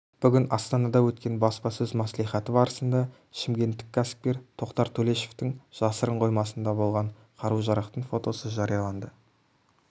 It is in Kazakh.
бүгін астанада өткен баспасөз мәслихаты барысында шымкенттік кәсіпкер тоқтар төлешовтің жасырын қоймасында болған қару-жарақтың фотосы жарияланды